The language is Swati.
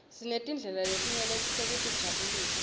sinetindlela letinyeti tekutijabulisa